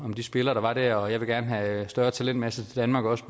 om de spillere der var der og jeg vil gerne have større talentmasse til danmark også